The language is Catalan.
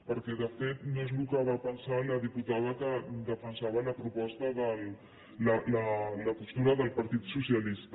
perquè de fet no és el que va pensar la diputada que defensava la postura del partit socialista